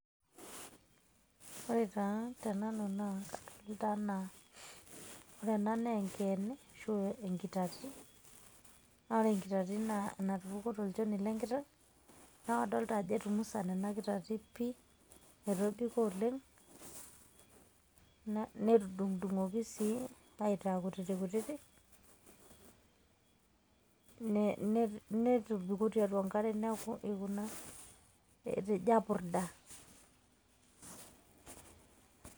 Ore taa tenanu naa, intana. Ore ena naa enkeene, enkitati. Na ore enkitati na enatupukuo tolchoni lenkiteng'. Na kadolta ajo etumusana ena kitati pi, etobiko oleng',netudung'dung'oki sii aitaa kutitikutiti, netobiko tiatua enkare neeku ikuna etejo apurda.